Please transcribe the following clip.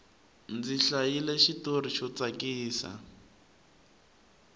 ndzi hlayile xitori xo tsakisa